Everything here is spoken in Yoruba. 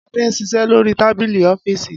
Ade n ṣiṣẹ lori tábìlì ọ́fììsì.